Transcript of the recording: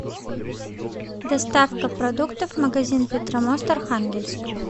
доставка продуктов магазин петромост архангельск